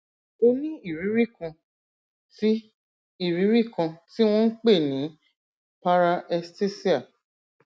o ní ìrírí kan tí ìrírí kan tí wọn ń pè ní paraesthesia